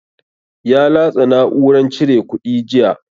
Ya latsa na'uran cire kuɗi jiya.